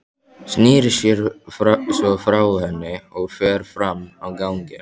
Snýr sér svo frá henni og fer fram á ganginn.